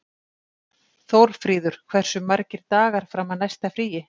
Þórfríður, hversu margir dagar fram að næsta fríi?